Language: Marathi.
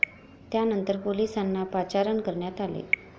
त्यानंतर पोलिसांना पाचारण करण्यात आले.